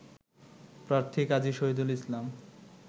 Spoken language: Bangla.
প্রার্থী কাজী শহিদুল ইসলাম